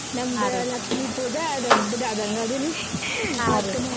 ನಮ್ದು ಲಕ್ಷ್ಮೀ ಪೂಜಾ ದೊಡ್ಡದ್ ಆದಂಗ್ ಹೌದಲ್ರೀ? .